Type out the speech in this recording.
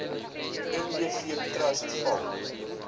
nbf trust val